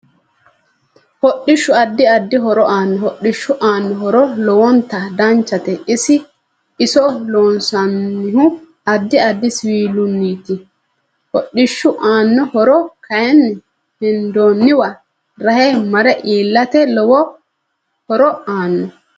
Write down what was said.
Hodhishu addi addi horo aaanno hodhishu aanno horo lowonta danchate iso loonsanihu addi addi siwiiliniiti hodhishu aanno horo kayiini hendooniwa rahe mare iilate lowo horo aanno